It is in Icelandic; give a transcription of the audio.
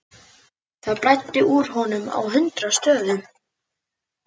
Það blæddi úr honum á hundrað stöðum.